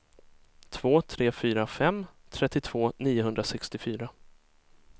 två tre fyra fem trettiotvå niohundrasextiofyra